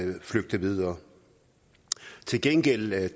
flygte videre til gengæld